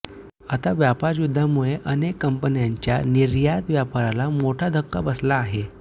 आता व्यापारयुद्धामुळे अनेक कंपन्यांच्या निर्यात व्यापाराला मोठा धक्का बसला आहे